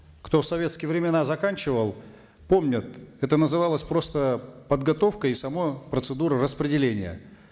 кто в советские времена заканчивал помнят это называлось просто подготовкой и сама процедура распределения